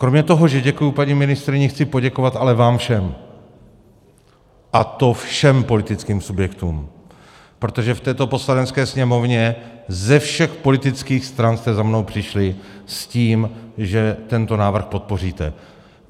Kromě toho, že děkuji paní ministryni, chci poděkovat ale vám všem, a to všem politickým subjektům, protože v této Poslanecké sněmovně ze všech politických stran jste za mnou přišli s tím, že tento návrh podpoříte.